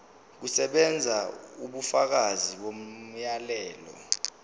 kusebenza ubufakazi bomyalelo